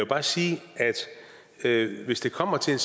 bare sige at hvis det kommer til